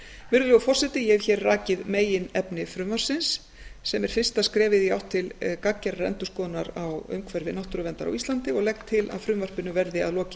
virðulegur forseti ég hef hér rakið meginefni frumvarpsins sem er fyrsta skrefið í átt til gagngerrar endurskoðunar á umhverfi náttúruverndar á íslandi og legg til að frumvarpinu verði að lokinni